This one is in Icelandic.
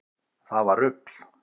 Það var rugl